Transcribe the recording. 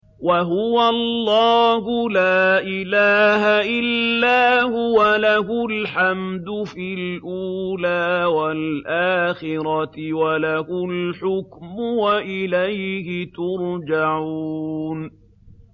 وَهُوَ اللَّهُ لَا إِلَٰهَ إِلَّا هُوَ ۖ لَهُ الْحَمْدُ فِي الْأُولَىٰ وَالْآخِرَةِ ۖ وَلَهُ الْحُكْمُ وَإِلَيْهِ تُرْجَعُونَ